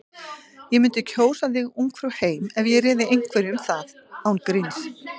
Ég mundi kjósa þig Ungfrú heim ef ég réði einhverju um það. án gríns.